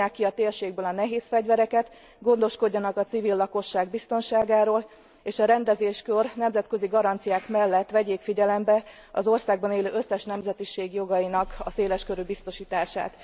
Vonják ki a térségből a nehézfegyvereket, gondoskodjanak a civil lakosság biztonságáról, és a rendezéskor nemzetközi garanciák mellett vegyék figyelembe az országban élő összes nemzetiség jogainak a széleskörű biztosítását.